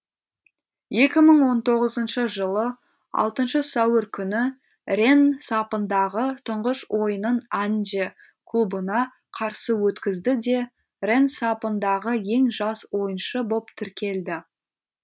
екі мың он тоғызыншы жылы алтыншы сәуір күні ренн сапындағы тұңғыш ойынын анже клубына қарсы өткізді де ренн сапындағы ең жас ойыншы боп тіркелді